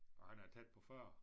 Og han er tæt på 40